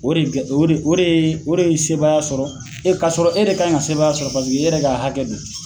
O de kɛ o de o de ye sebaaya sɔrɔ e ka sɔrɔ e de kan ka sebaaya sɔrɔ paseke e yɛrɛ ka hakɛ do.